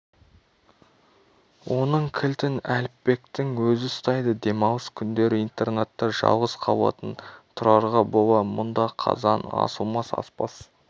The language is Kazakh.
оның кілтін әліпбектің өзі ұстайды демалыс күндері интернатта жалғыз қалатын тұрарға бола мұнда қазан асылмас аспаз